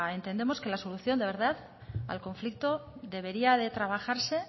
entendemos que la solución de verdad al conflicto debería de trabajarse